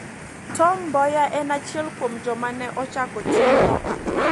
Tom Mboya ne en achiel kuom joma ne ochako tim no